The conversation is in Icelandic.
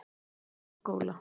Hólaskóla